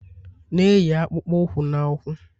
na-eyi akpụkpọ ụkwụ na ụkwụ